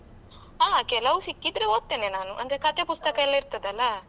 ಹಾ ಕೆಲವು ಸಿಕ್ಕಿದ್ರೆ ಒದ್ತೆನೆ ನಾನು ಅಂದ್ರೆ ಕತೆ ಪುಸ್ತಕ ಎಲ್ಲಾ ಇರ್ತದಲ್ಲ.